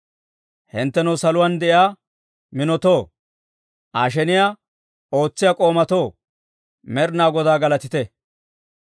Hinttenoo saluwaan de'iyaa minotoo, Aa sheniyaa ootsiyaa k'oomatoo, Med'inaa Godaa galatite!